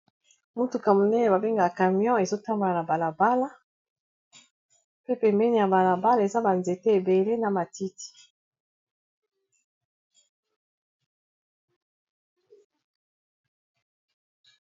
motuka monene babengka camion ezotambwana na balabala pe pembene ya balabala eza banzete ebele na matiti